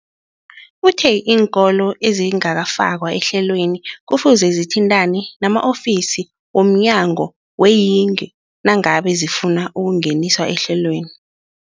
Uthe iinkolo ezingakafakwa ehlelweneli kufuze zithintane nama-ofisi womnyango weeyingi nangange zifuna ukungeniswa ehlelweni.